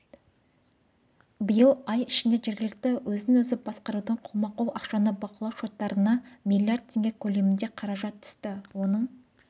биыл ай ішінде жергілікті өзін-өзі басқарудың қолма-қол ақшаны бақылау шоттарына млрд теңге көлемінде қаражат түсті оның